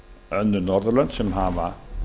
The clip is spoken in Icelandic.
önnur norðurlönd sem hafa